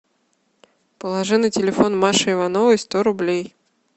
положи на телефон маши ивановой сто рублей